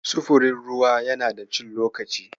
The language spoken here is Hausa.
Sufurin ruwa yana da cin lokaci.